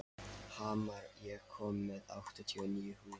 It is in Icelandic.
Hamar, ég kom með áttatíu og níu húfur!